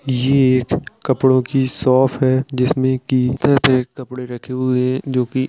ये एक कपड़ों की शॉप है जिसमे कि तह पे कपड़े रखे हुए हैं जो कि --